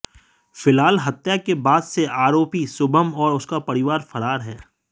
फिलहाल हत्या के बाद से आरोपी शुभम और उसका परिवार फरार हैं